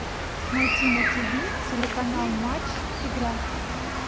найти на тв телеканал матч игра